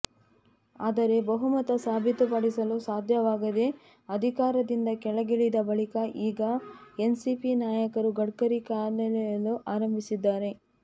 ಆದರೆ ಬಹುಮತ ಸಾಬೀತುಪಡಿಸಲು ಸಾಧ್ಯವಾಗದೆ ಅಧಿಕಾರದಿಂದ ಕೆಳಗಿಳಿದ ಬಳಿಕ ಈಗ ಎನ್ಸಿಪಿ ನಾಯಕರು ಗಡ್ಕರಿ ಕಾಲೆಳೆಯಲು ಆರಂಭಿಸಿದ್ದಾರೆ